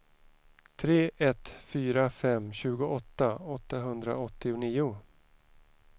tre ett fyra fem tjugoåtta åttahundraåttionio